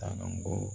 Taa ko